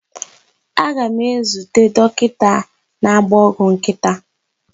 Aga m ezute dokita na-agba ọgwụ nkịta.